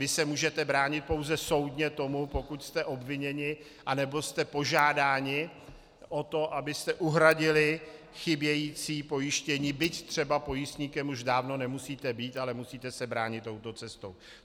Vy se můžete bránit pouze soudně tomu, pokud jste obviněni, anebo jste požádáni o to, abyste uhradili chybějící pojištění, byť třeba pojistníkem už dávno nemusíte být, ale musíte se bránit touto cestou.